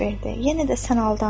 Yenə də sən aldandın.